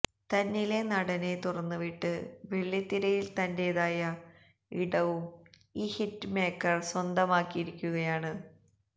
തന്നിലെ നടനെ തുറന്നുവിട്ട് വെള്ളിത്തിരയില് തന്റേതായ ഇടവും ഈ ഹിറ്റ്മേക്കര് സ്വന്തമാക്കിയിരിക്കുകയാണ്